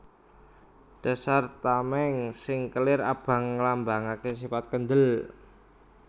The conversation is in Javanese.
Dasar tamèng sing kelir abang nglambangaké sifat kendhel